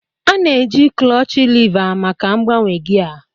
A na-eji kloochi leva maka mgbanwe gia.